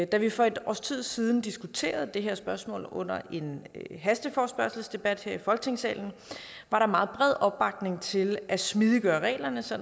da vi for et års tid siden diskuterede det her spørgsmål under en hasteforespørgselsdebat her i folketingssalen var der meget bred opbakning til at smidiggøre reglerne så